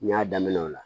N y'a daminɛ o la